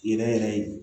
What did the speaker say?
Yɛrɛ yɛrɛ ye